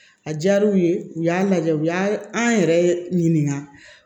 A diyara u ye u y'a lajɛ u y'a an yɛrɛ ɲininka